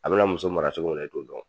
A bɛna muso maracogo min na e t'o dɔn.